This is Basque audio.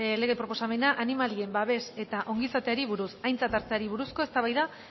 lege proposamena animalien babes eta ongizateari buruz aintzat hartzeari buruzko eztabaida